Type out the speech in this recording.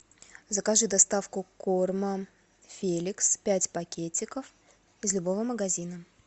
закажи доставку корма феликс пять пакетиков из любого магазина